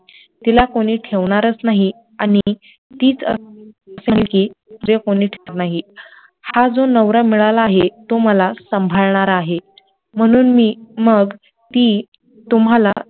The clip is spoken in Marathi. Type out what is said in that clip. तिला कोणी ठेवणारच नाही आणी नाही, हा जो नवरा मिळाला आहे तो मला सांभाळणारा आहे, म्हणून मी मग ती तुम्हाला